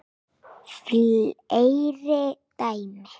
Fleiri dæmi